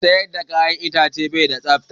Mai siyar da ka'yan itace bai da tsafta.